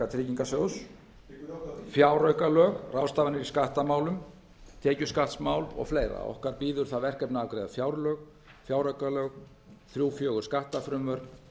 tryggingarsjóðs fjáraukalög ráðstafanir í skattamálum tekjuskattsmál og fleiri okkar bíður það verkefni að afgreiða fjárlög fjáraukalög þriggja til fjögurra skattafrumvörp